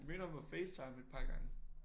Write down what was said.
Jeg mødte ham på FaceTime et par gange